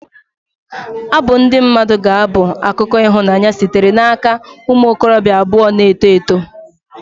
Abụ ndị mmadụ ga-abụ akụkọ ịhụnanya sitere n'aka ụmụ okorobịa abụọ na-eto eto.